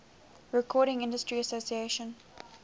recording industry association